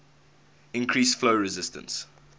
increase flow resistance